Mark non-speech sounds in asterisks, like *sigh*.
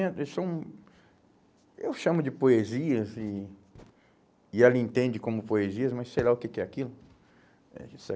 *unintelligible* Eu chamo eu chamo de poesias e e ela entende como poesias, mas sei lá o que que é aquilo. Vida que segue.